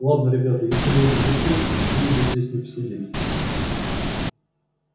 ладно ребята если мы уже пришли то почему бы здесь не посидеть